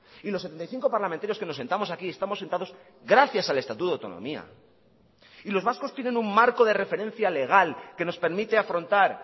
y los setenta y cinco parlamentarios que nos sentamos aquí estamos sentados gracias al estatuto de autonomía y los vascos tienen un marco de referencia legal que nos permite afrontar